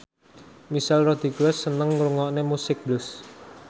Michelle Rodriguez seneng ngrungokne musik blues